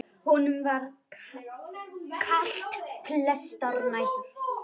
Honum var kalt flestar nætur.